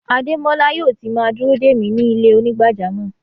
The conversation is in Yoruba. Ademọla yóò tì má dúró de mi ni ilẹ̀-onígbàjàmọ́.